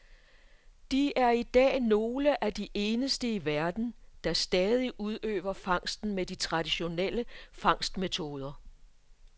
De er i dag nogle af de eneste i verden, der stadig udøver fangsten med de traditionelle fangstmetoder.